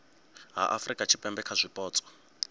ha afurika tshipembe kha zwipotso